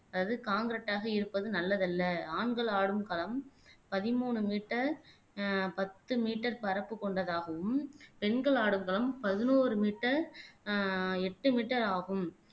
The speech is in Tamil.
அதாவது காண்கிரெட்டாக இருப்பது நல்லதல்ல ஆண்கள் ஆடும் களம் பதிமூணு மீட்டர் ஆஹ் பத்து மீட்டர் பரப்பு கொண்டதாகவும் பெண்கள் ஆடும் களம் பதினோரு மீட்டர் ஆஹ் எட்டு மீட்டர் ஆகும்